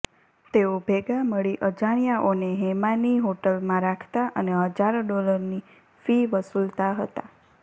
તેઓ ભેગા મળી અજાણ્યાઓને હેમાની હોટલમાં રાખતા અને હજારો ડોલરની ફી વસુલતા હતા